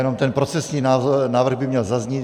Jenom ten procesní návrh by měl zaznít.